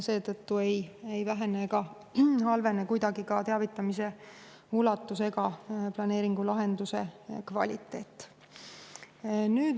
Seetõttu ei vähene ega halvene kuidagi ka teavitamise ulatus ega planeeringulahenduse kvaliteet.